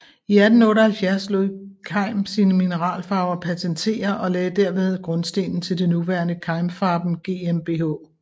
I 1878 lod Keim sine mineralfarver patentere og lagde dermed grundstenen til det nuværende Keimfarben GmbH